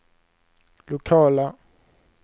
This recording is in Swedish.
lokala